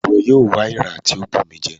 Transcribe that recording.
Iwọ yóò wá èèrà ti o bù mí jẹ!